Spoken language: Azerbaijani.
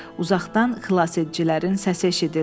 Uzaqdan xilasedicilərin səsi eşidildi.